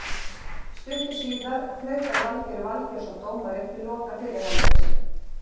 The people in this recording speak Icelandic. Stuttu síðar flautar Valgeir Valgeirsson dómari til loka fyrri hálfleiks.